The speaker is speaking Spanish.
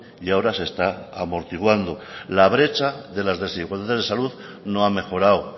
y ahora se está amortiguando la brecha de las desigualdades de salud no ha mejorado